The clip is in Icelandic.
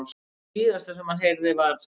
Það síðasta sem hann heyrði var.